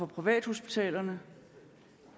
privathospitaler